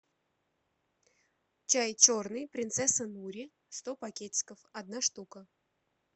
чай черный принцесса нури сто пакетиков одна штука